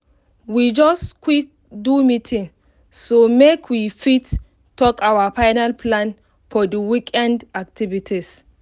we just quick do meeting mek we fit tak our final plan for di weekend activities